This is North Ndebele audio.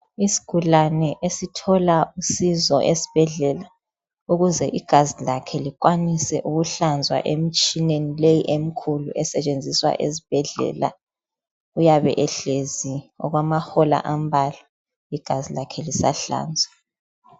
Isigulane esithola usizo esbhedlela ukuze igazi lakhe likwanise ukuhlanzwa emtshineni leyi emkhulu esetshenziswa ezbhedlela. Uyabe ehlezi okwamahola ambalwa igazi lakhe lisahlanzwa.